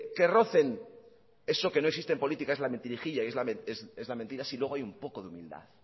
que rocen eso que no existe en política es la mentirijilla y es la mentira si luego hay un poco de humildad